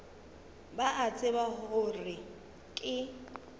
ba a tseba gore ke